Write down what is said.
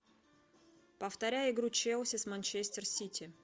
повторяй игру челси с манчестер сити